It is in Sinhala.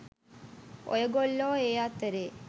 ඔය ගොල්ලෝ ඒ අතරේ